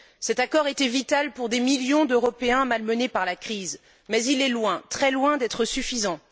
Cet accord était vital pour des millions d'Européens malmenés par la crise mais il est loin, très loin d'être suffisant.